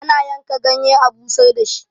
ana yanka ganye a busar da shi